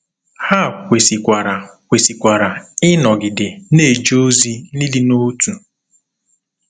Ha kwesịkwara kwesịkwara ịnọgide na-eje ozi n’ịdị n’otu.